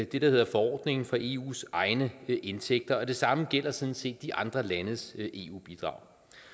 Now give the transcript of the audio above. det der hedder forordningen for eus egne indtægter og det samme gælder sådan set de andre landes eu bidrag